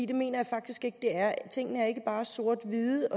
det mener jeg faktisk ikke at det er tingene er ikke bare sort hvide